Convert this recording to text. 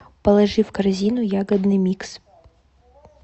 положи в корзину ягодный микс